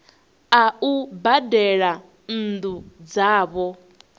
a u badela nnu dzavho